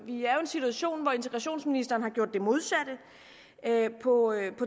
situation hvor integrationsministeren har gjort det modsatte på